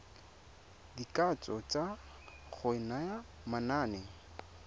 dikatso tsa go naya manane